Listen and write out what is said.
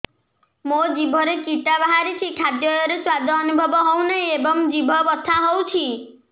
ମୋ ଜିଭରେ କିଟା ବାହାରିଛି ଖାଦ୍ଯୟରେ ସ୍ୱାଦ ଅନୁଭବ ହଉନାହିଁ ଏବଂ ଜିଭ ବଥା ହଉଛି